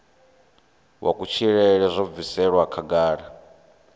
wa kutshilele zwo bviselwa khagala